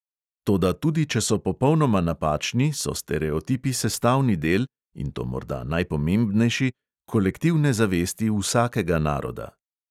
Toda tudi če so popolnoma napačni, so stereotipi sestavni del, in to morda najpomembnejši, kolektivne zavesti vsakega naroda.